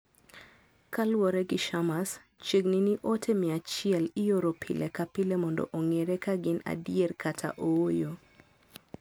Kaluwore gi Shammas, chiegni ni ote 100 ioro pile ka pile mondo ong'ere ka gin adier kata ooyo.